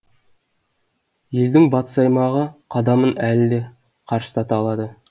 елдің батыс аймағы қадамын әлі де қарыштата алады